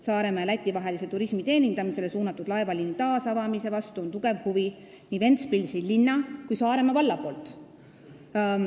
Saaremaa ja Läti vahelise turismi teenindamisele suunatud laevaliini taasavamise vastu on tugev huvi nii Ventspilsi linna kui Saaremaa valla poolt.